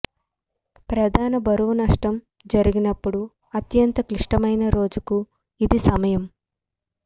ప్రధాన బరువు నష్టం ఏర్పడినప్పుడు అత్యంత క్లిష్టమైన రోజుకు ఇది సమయం